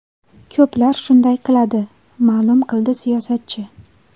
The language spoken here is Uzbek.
Ko‘plar shunday qiladi”, ma’lum qildi siyosatchi.